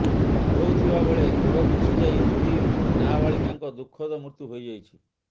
ଗାଧୋଉଥିବା ବେଳେ ଗୋଡ଼ ଖସିଯାଇ ଦୁଇ ନାବାଳିକାଙ୍କ ଦୁଃଖଦ ମୃତ୍ୟୁ ହୋଇଯାଇଛି